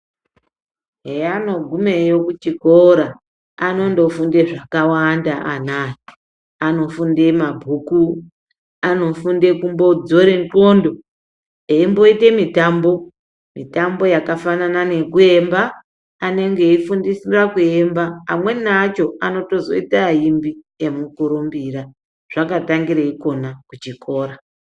Zveanogumeyo kuchikora anondofunde zvakawanda anaya. Anofunde mabhuku anofunde kumbodzore ndxondo. Eimboite mitambo mitambo yakafanana nekuyemba anenge eifundiswa kuemba amweni acho anotozoita aimbi emukurumbira zvakatangira ikona kuchikora.